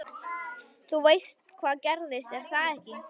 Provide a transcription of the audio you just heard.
Þú veist hvað gerðist, er það ekki?